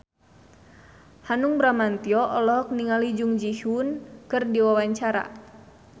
Hanung Bramantyo olohok ningali Jung Ji Hoon keur diwawancara